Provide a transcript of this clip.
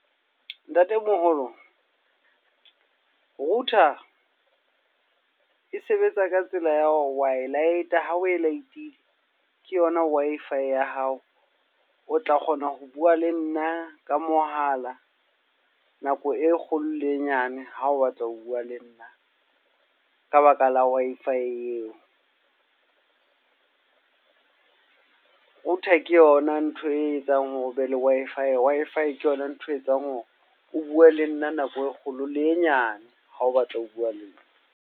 Ntatemoholo, router e sebetsa ka tsela ya hore wa e light-a. Ha o e light-ile, ke yona Wi-Fi ya hao. O tla kgona ho bua le nna ka mohala. Nako e kgolo le e nyane, ha o batla ho bua le nna. Ka baka la Wi-Fi eo. Router ke yona ntho e etsang hore ho be le Wi-Fi. Wi-Fi e ke yona ntho etsang hore o bue le nna nako e kgolo le e nyane. Ha o batla ho bua le nna.